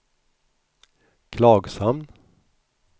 Klagshamn